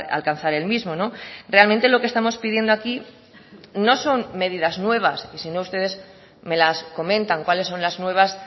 alcanzar el mismo realmente lo que estamos pidiendo aquí no son medidas nuevas sino ustedes me las comentan cuales son las nuevas